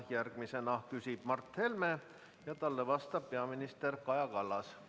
Järgmisena küsib Mart Helme ja talle vastab peaminister Kaja Kallas.